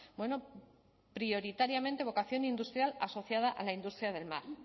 además bueno prioritariamente vocación industrial asociada a la industria del